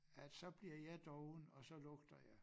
At så bliver jeg doven og så lugter jeg